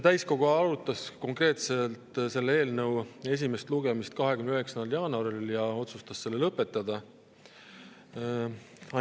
Täiskogu arutas seda eelnõu esimesel lugemisel 29. jaanuaril ja otsustas selle lõpetada.